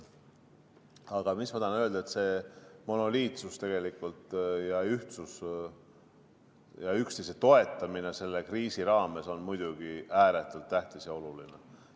Aga mis ma tahan öelda: see monoliitsus ja ühtsus ja üksteise toetamine selle kriisi raames on muidugi ääretult tähtis ja oluline.